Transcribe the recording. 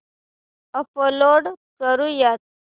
upload करुयात